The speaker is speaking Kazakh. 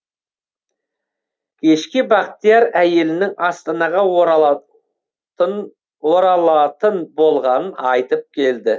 кешке бақтияр әйелінің астанаға оралатын болғанын айтып келді